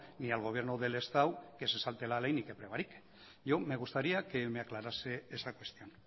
ni al gobierno del estado que se salte la ley ni que prevarique yo me gustaría que me aclarase esa cuestión